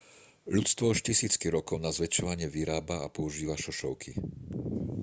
ľudstvo už tisícky rokov na zväčšovanie vyrába a používa šošovky